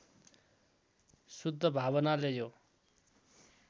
शुद्ध भावनाले यो